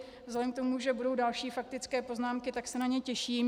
Vzhledem k tomu, že budou další faktické poznámky, tak se na ně těším.